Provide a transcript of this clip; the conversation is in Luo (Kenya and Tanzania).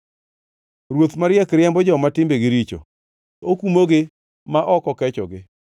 Ruoth mariek riembo joma timbegi richo; okumogi ma ok okechogi.